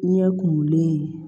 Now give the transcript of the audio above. Ɲɛ kumunlen ye